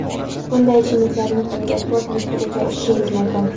bunday ichimlikni kuniga to‘rt litrgacha ichishingiz mumkin.